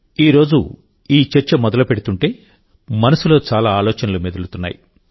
ఈరోజు ఈ చర్చ మొదలుపెడుతుంటే మనసులో చాలా ఆలోచనలు మెదులుతున్నాయి